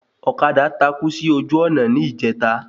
Ọ̀kadà takú sí ojú ònà ní ìjẹta